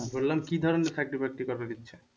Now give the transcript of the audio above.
বললাম কি ধরনের চাকরি বাকরি করার ইচ্ছা?